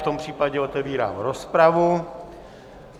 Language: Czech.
V tom případě otevírám rozpravu.